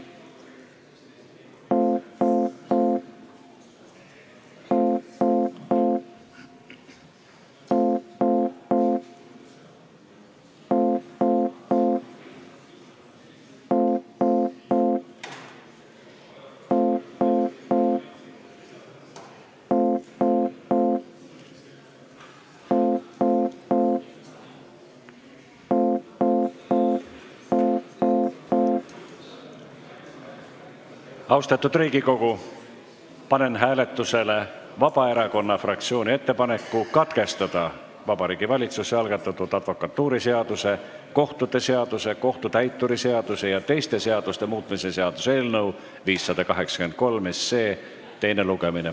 Austatud Riigikogu, panen hääletusele Vabaerakonna fraktsiooni ettepaneku katkestada Vabariigi Valitsuse algatatud advokatuuriseaduse, kohtute seaduse, kohtutäituri seaduse ja teiste seaduste muutmise seaduse eelnõu 583 teine lugemine.